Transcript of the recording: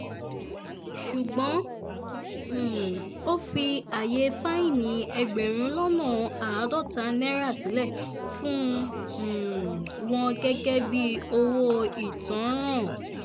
ṣùgbọ́n um ó fi ààyè fáìní ẹgbẹ̀rún lọ́nà àádọ́ta náírà sílẹ̀ fún um wọn gẹ́gẹ́ bíi owó ìtanràn